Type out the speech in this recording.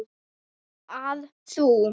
að þú.